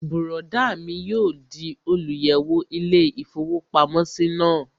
Bùrọ̀dá mi yóò di olùyẹ̀wò ilé-ìfowópamọ́sí náà